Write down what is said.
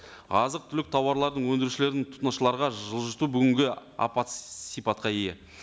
азық түлік тауарлардың өндірушілердің тұтынушыларға жылжыту бүгінгі апат сипатқа ие